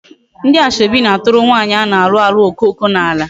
Ndi asoebi na-aturu nwaanyi a na-alu alu okoko n'ala